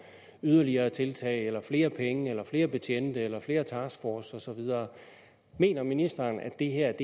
yderligere tiltag eller flere penge eller flere betjente eller flere taskforces og så videre mener ministeren at det her